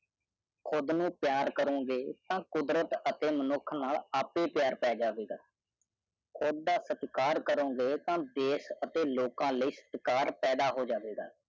ਕੁੜ੍ਹ ਨੂੰ ਪਿਆਰ ਕਰੋਗੇ ਤਾ ਕੁਦਰਤ ਅਤੇ ਮਨੁੱਖ ਨਾਲ ਆਪੇ ਪਿਆਰ ਪੈ ਜਾਵੇਗਾ ਕੁੜ੍ਹ ਦਾ ਸਤਿਕਾਰ ਕਰੋਗੇ ਤਾ ਦੇਸ਼ ਅਤੇ ਲੋਕ ਲਯੀ ਸਤਿਕਾਰ ਪੈਦਾ ਹੋ ਜਾਵੇਗਾ